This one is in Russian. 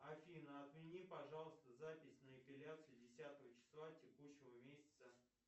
афина отмени пожалуйста запись на эпиляцию десятого числа текущего месяца